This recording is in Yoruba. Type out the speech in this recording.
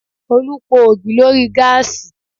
Olú po ògì lórí gáàsì